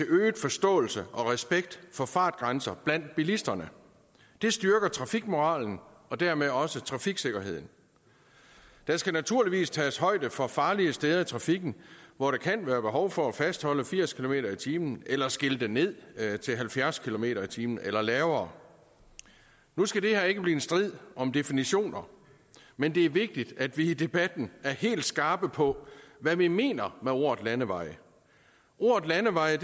øget forståelse og respekt for fartgrænser blandt bilisterne det styrker trafikmoralen og dermed også trafiksikkerheden der skal naturligvis tages højde for farlige steder i trafikken hvor der kan være behov for at fastholde firs kilometer per time eller skilte ned til halvfjerds kilometer per time eller lavere nu skal det her ikke blive en strid om definitioner men det er vigtigt at vi i debatten er helt skarpe på hvad vi mener med ordet landevej ordet landevej